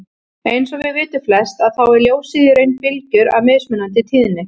Eins og við vitum flest að þá er ljósið í raun bylgjur af mismunandi tíðni.